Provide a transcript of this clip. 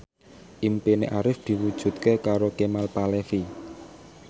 impine Arif diwujudke karo Kemal Palevi